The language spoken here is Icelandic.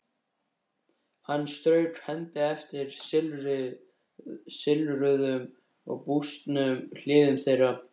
Hann strauk hendi eftir silfruðum og bústnum hliðum þeirra.